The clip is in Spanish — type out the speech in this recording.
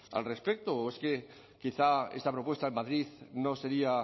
al respecto o es que quizá esta propuesta en madrid no sería